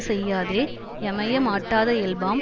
செய்யாதே யமைய மாட்டாத இயல்பாம்